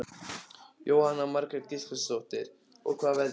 Jóhanna Margrét Gísladóttir: Og hvað veldur því?